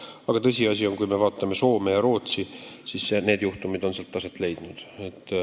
Aga tõsiasi on, et kui me vaatame Soomet ja Rootsit, siis seal on sellised juhtumid aset leidnud.